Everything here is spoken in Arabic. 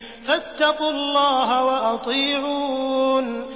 فَاتَّقُوا اللَّهَ وَأَطِيعُونِ